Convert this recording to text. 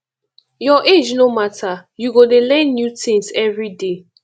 your age no mata you go dey learn new tins everyday